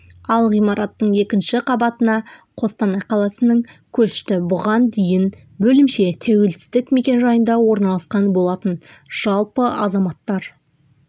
ал ғимараттың екінші қабатына қостанай қаласының көшті бұған дейін бөлімше тәуелсіздік мекенжайында орналасқан болатын жалпы азаматтар